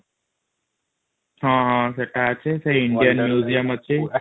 ହଁ ହଁ ସେଇଟା ଅଛି ସେ indian museum ଅଛି ।